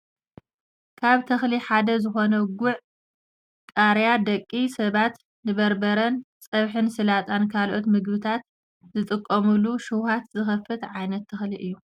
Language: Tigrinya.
ካብ ተክሊ ሓደ ዝኮነ ጉዕ /ቃርያ/ ደቂ ሰባት ንበርበረን ፀብሕን ሳላጣን ካልኦት ምግብታት ዝጥቀሙሉ ሽውሃት ዝከፍት ዓይነት ተክሊ እዩ ።